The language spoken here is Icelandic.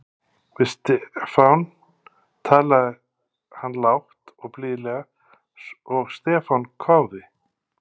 Við Stefán talaði hann lágt og blíðlega og Stefán hváði